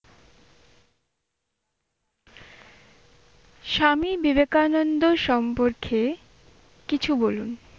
স্বামী বিবেকানন্দ সম্পর্কে কিছু বলুন?